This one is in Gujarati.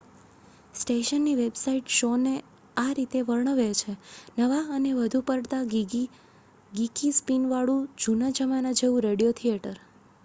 "સ્ટેશનની વેબસાઈટ શૉ ને આ રીતે વર્ણવે છે "નવા અને વધુ પડતા ગિકી સ્પિન વાળું જુના જમાના જેવું રેડિયો થિયેટર!""